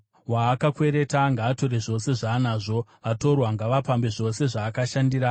Waakakwereta ngaatore zvose zvaanazvo; vatorwa ngavapambe zvose zvaakashandira.